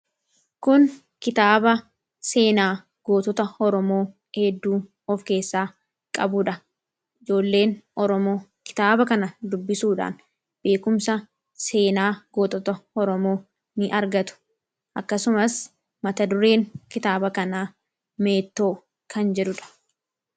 kun kitaaba seenaa gootota horomoo eedduu of keessaa qabuudha ijoolleen horomoo kitaaba kana dubbisuudhaan beekumsa seenaa gootota horomoo ni argatu akkasumas mata dureen kitaaba kana meetoo kan jidhuudha